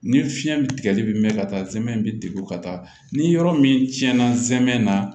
Ni fiɲɛ bi tigɛli bɛ mɛn ka taa zɛmɛ bɛ degun ka taa ni yɔrɔ min tiɲɛna zɛmɛ na